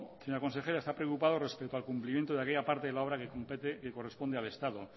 señora consejera está preocupado respecto al cumplimiento de aquella parte de la obra que compete que corresponde al estado